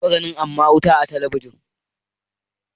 Na taɓa ganin aman wuta amma a talabijin.